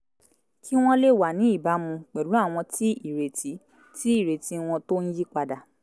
kí wọ́n lè wà ní ìbámu pèlú àwọn tí ìrètí tí ìrètí wọn tó ń yípadà